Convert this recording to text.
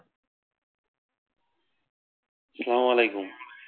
সালামুআলাইকুম।